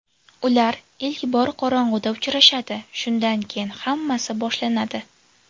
Ular ilk bor qorong‘uda uchrashadi, shundan keyin hammasi boshlanadi.